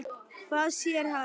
Hvað sér hann?